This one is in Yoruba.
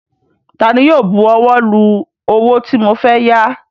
Taani yóò bu ọwọ́ lu owó tí mo fẹ́ yá?